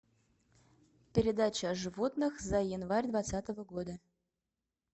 передача о животных за январь двадцатого года